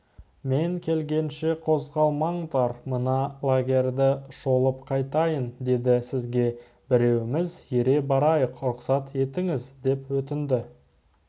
мен келгенше қозғалмаңдар мына лагерьді шолып қайтайын деді сізге біреуіміз ере барайық рұқсат етіңіз деп өтінді